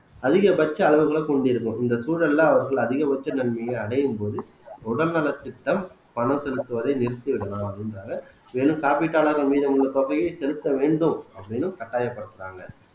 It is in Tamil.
அதிகபட்ச அளவுகளை கொண்டிருக்கும் இந்த சூழல்ல அவர்கள் அதிகபட்ச நன்மையை அடையும் போது உடல் நலத்திட்டம் பணம் செலுத்துவதை நிறுத்திவிடலாம் அப்படின்றாங்க மேலும் காப்பீட்டாளர்கள் மீது உள்ள தொகையை செலுத்த வேண்டும் அப்படின்னும் கட்டாயப்படுத்துறாங்க